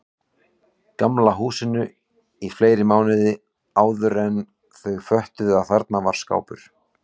Gamla húsinu í fleiri mánuði áðuren þau föttuðu að þarna var skápur.